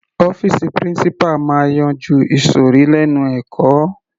Ọ́fìsì principal máa yanjú ìsòrí lẹ́nu ẹ̀kọ́.